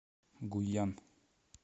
гуйян